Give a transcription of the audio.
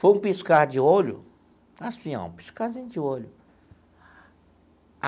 Foi um piscar de olho, assim ó, um piscarzinho de olho.